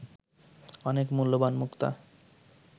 অনেক মূল্যবান মুক্তা